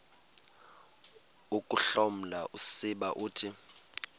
ukuhloma usiba uthi